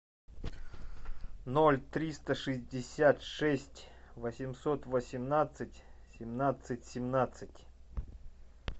ноль триста шестьдесят шесть восемьсот восемнадцать семнадцать семнадцать